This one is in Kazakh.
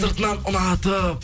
сыртынан ұнатып